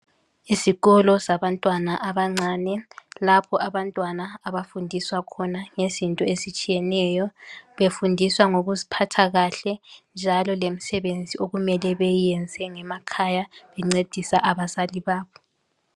Isikolo sabantwana abancane lapho abantwana abafundiswa khona ngezinto ezitshiyeneyo befundiswa ngokuziphatha kahle njalo lemisebenzi okumele beyenze ngekhaya bencedisa abazali babo.